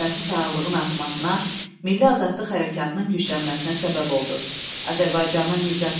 Azərbaycanın nicat yolu təkcə siyasət adamlarını deyil, yazıçı, şair və ziyalıları da ciddi düşündürürdü.